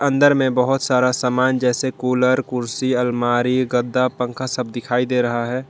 अंदर में बहुत सारा सामान जैसे कूलर कुर्सी अलमारी गद्दा पंखा सब दिखाई दे रहा है।